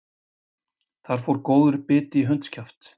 Þar fór góður biti í hundskjaft